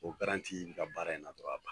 O garanti n ka baara in na o b'a ban.